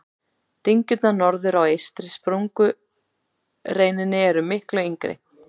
Dyngjurnar norðar á eystri sprungureininni eru miklu yngri.